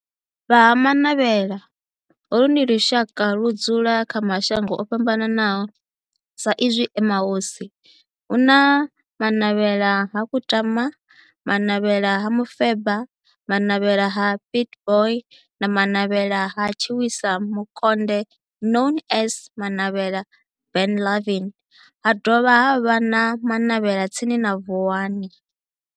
Vha Ha-Manavhela, holu ndi lushaka ludzula kha mashango ofhambanaho sa izwi e mahosi, hu na Manavhela ha Kutama, Manavhela ha Mufeba, Manavhela ha Pietboi na Manavhela ha Tshiwisa Mukonde known as Manavhela Benlavin, ha dovha havha na Manavhela tsini na Vuwani.